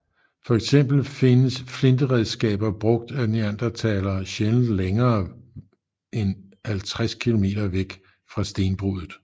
Fx findes flinteredskaber brugt af neandertalere sjældent længere end 50 km væk fra stenbruddet